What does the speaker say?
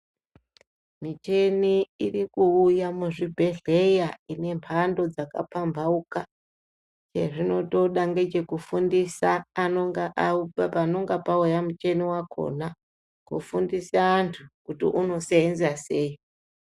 Michini iri ikuuya muzvibhedhleya ine mhando dzakapambhauka. Chezvinotoda ngechekufundisa panonga pauya muchini wakhona, kufundisa antu kuti unoseenza sei.